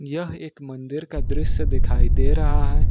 यह एक मंदिर का दृश्य दिखाई दे रहा है।